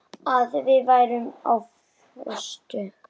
Að við værum á föstu.